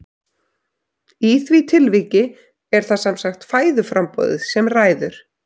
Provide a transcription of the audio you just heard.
Í því tilviki er það sem sagt fæðuframboðið sem ræður.